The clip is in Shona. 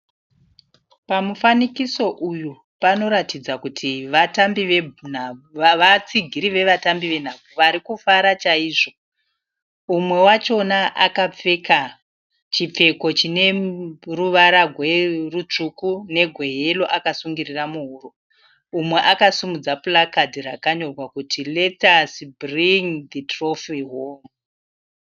Pamufanikiso uyu panoratidza kuti vatsigiri vevatambi venhabvu vari kufara chaizvo. Umwe wachona akapfeka chipfeko chine ruvara rutsvuku negweyero akasungirira muhuro. Umwe akasimudza purakadhi rakanyorwa kuti 'Let us bring the trophy home'